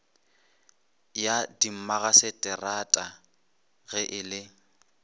ya dimmagaseterata ge e le